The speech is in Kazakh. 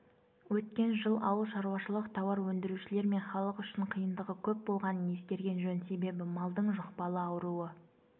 өткен жыл ауыл шаруашылық тауар өндірушілер мен халық үшін қиындығы көп болғанын ескерген жөн себебі малдың жұқпалы ауруы